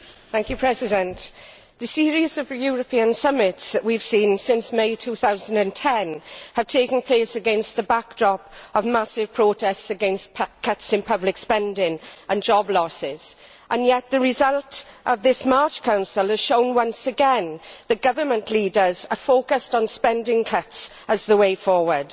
Mr President, the series of European summits we have seen since May 2010 has taken place against the backdrop of massive protests against cuts in public spending and job losses, and yet the result of this March Council has shown once again that government leaders are focused on spending cuts as the way forward.